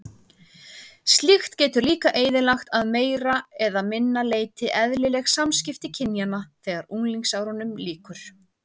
Slíkt getur líka eyðilagt að meira eða minna leyti eðlileg samskipti kynjanna þegar unglingsárunum lýkur.